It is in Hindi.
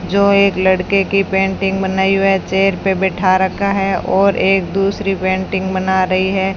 जो एक लड़के की पेंटिंग बनाई हुई है चेयर पे बैठा रखा है और एक दूसरी पेंटिंग बना रही है।